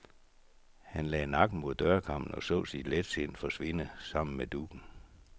Han lagde nakken mod dørkarmen og så sit letsind forsvinde sammen med duggen.